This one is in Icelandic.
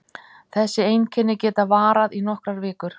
Þessi einkenni geta varað í nokkrar vikur.